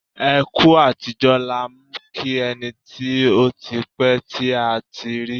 Ẹ kú àtijọ́ làá ń kí ẹni tí ó ti pẹ́ tí a ti rí.